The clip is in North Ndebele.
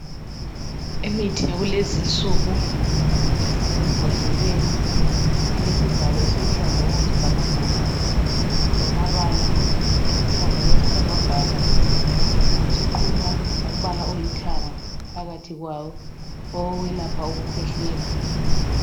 Imithi yakulezi insuku, esembodleleni elesivalo esiluhlaza, okwesibhakabhaka. Lamabala aluhlaza, okwesibhakabhaka. Wasuqunywa ngombala olithanga, phakathi kwawo. Owokwelapha ukukhwehlela.